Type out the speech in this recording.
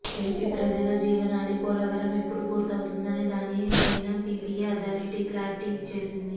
AP ప్రజల జీవనాడి పోలవరం ఎప్పుడు పూర్తవుతుందనే దాని పైన పీపీఏ అధారిటీ క్లారిటీ ఇచ్చేసింది